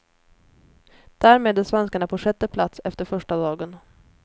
Därmed är svenskarna på sjätte plats efter första dagen.